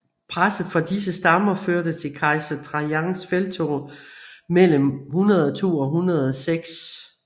Presset fra disse stammer førte til kejser Trajans felttog mellem 102 og 106 e